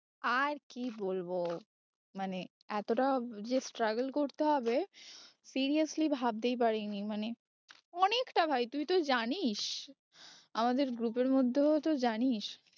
আর কি বলবো মানে এতটা যে struggle করতে হবে seriously ভাবতেই পারি নি মানে অনেকটা ভাই তুই তো জানিস আমাদের group এর মধ্যেও তো জানিস